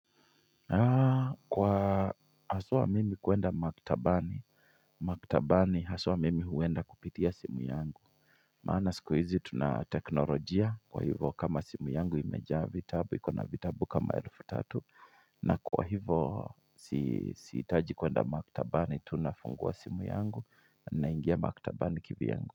Kwa haswa mimi kuenda maktabani, maktabani haswa mimi huenda kupitia simu yangu. Maana siku hizi tuna teknolojia kwa hivyo kama simu yangu imejaa vitabu ikona vitabu kama elfu tatu na kwa hivyo sihitaji kuenda maktabani tu nafungua simu yangu naingia maktabani kivyangu.